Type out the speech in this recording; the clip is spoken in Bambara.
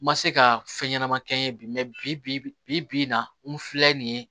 N ma se ka fɛn ɲɛnama kɛ n ye bi bibi in na n filɛ nin ye